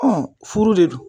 furu de don